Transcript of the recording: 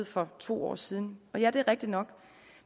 for to år siden og ja det er rigtig nok